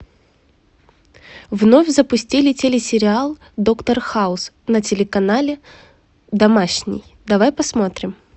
вновь запустили телесериал доктор хаус на телеканале домашний давай посмотрим